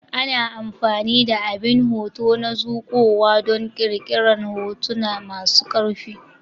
Ana amfani da abin hoto na zuƙowa don ƙirƙirar hotuna masu ƙarfi.